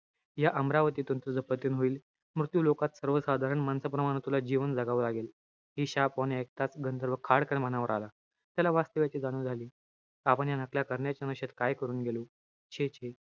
या अमरावतीतुन तुझं पतन होईल. मृत्युलोकात सर्वसाधारण माणसाप्रमाणे तुला जीवन जगावं लागेल. हि शापवाणी एकटाच गंधर्व खाडकन भानावर आला. त्याला वास्तव्याची जाणीव झाली. आपण या नकल्या करण्याच्या नशेत काय करून गेलो. छे-छे.